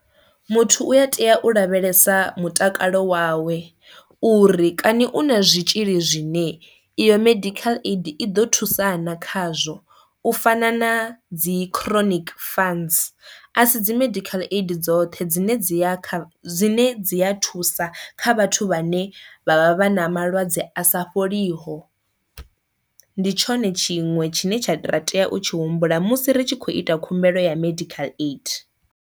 Muthu u a tea u lavhelesa mutakalo wawe uri kani u na zwitzhili zwine iyo medical aid i ḓo thusa na khazwo u fana na dzi chronic funds, a si dzi medical aid dzoṱhe dzine dzi ya kha dzine dzi a thusa kha vhathu vhane vha vha vha na malwadze a sa fholiho, ndi tshone tshiṅwe tshine tsha ra tea u tshi humbula musi ri tshi khou ita khumbelo ya medical aid.